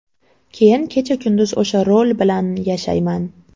Keyin kecha-kunduz o‘sha rol bilan yashayman.